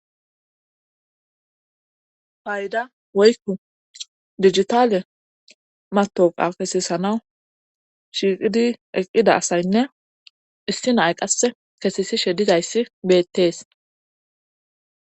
payda woykku digitale matawoqa kesesana shiiqidi eqqida asaynne issi nay qasse kesesishe dizayssi beettees